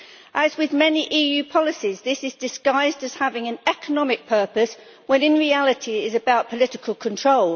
As with many EU policies, this is disguised as having an economic purpose, when in reality it is about political control.